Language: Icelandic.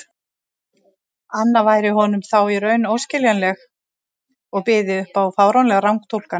anna væri honum þá í raun óskiljanleg og byði upp á fáránlegar rangtúlkanir.